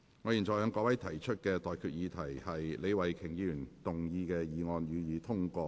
我現在向各位提出的待決議題是：李慧琼議員動議的議案，予以通過。